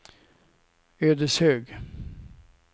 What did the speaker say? Ödeshög